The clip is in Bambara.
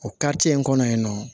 O kariti in kɔnɔ yen nɔ